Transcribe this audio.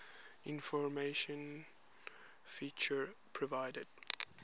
informational feature provided